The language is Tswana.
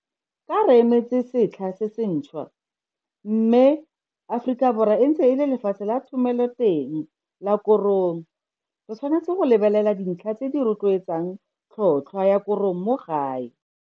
Ka re emetse setlha se sentšhwa, mme Afrikaborwa e ntse e le lefatshe la thomeloteng la korong re tshwanetse go lebelela dintlha tse di rotloetsang tlhotlhwa ya korong mo gae.